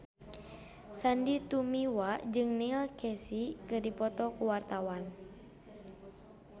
Sandy Tumiwa jeung Neil Casey keur dipoto ku wartawan